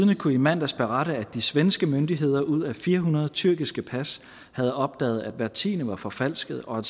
kunne i mandags berette at de svenske myndigheder ud af fire hundrede tyrkiske pas havde opdaget at hvert tiende var forfalsket og